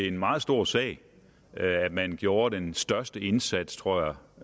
en meget stor sag at man gjorde den største indsats tror jeg